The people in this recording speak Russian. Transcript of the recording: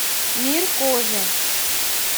мир кожи